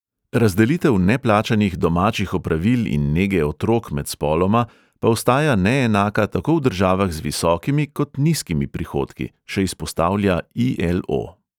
Razdelitev neplačanih domačih opravil in nege otrok med spoloma pa ostaja neenaka tako v državah z visokimi kot nizkimi prihodki, še izpostavlja i|el|o.